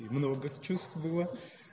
чувствовала